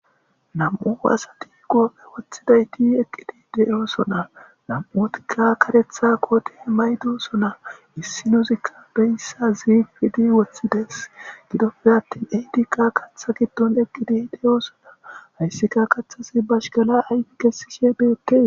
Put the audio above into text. Nam7u asati qoophe woththida eti eqqidi de7oosona. nam7utika karetha kooti maydosona. issi nuzikka beyssa zifidi woththides gidoppe attin eydikka katha giddon eqqidi de7oosona. hayssika kaththasi bashkala ayfi kessishe peekke.